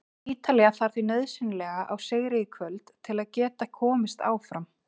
Ítalía þarf því nauðsynlega á sigri í kvöld til að geta komist áfram.